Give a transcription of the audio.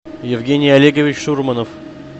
евгений олегович шурманов